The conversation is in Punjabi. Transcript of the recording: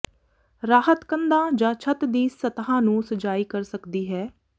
ਰਾਹਤ ਕੰਧਾਂ ਜਾਂ ਛੱਤ ਦੀ ਸਤ੍ਹਾ ਨੂੰ ਸਜਾਈ ਕਰ ਸਕਦੀ ਹੈ